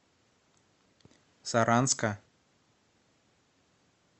саранска